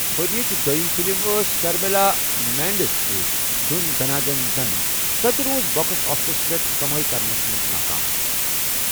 ورِیچہِ دویِم فِلم ٲس شرمیلا مینڈِزِ سٕتہِ دھٔن دٔھنا دٔھن ،سو٘تہِ روٗز بو٘كس آفِسس پیٹھ كمٲیہِ كرنس منز ناكام ۔